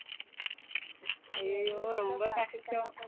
ஐயையோ ரொம்ப கஷ்டம்